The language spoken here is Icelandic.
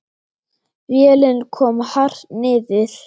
Vélin kom hart niður.